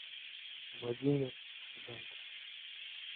владимир зайцев